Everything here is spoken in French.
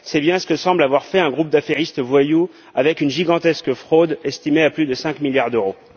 C'est bien ce que semble avoir fait un groupe d'affairistes voyous, avec une gigantesque fraude estimée à plus de 5 milliards d'euros.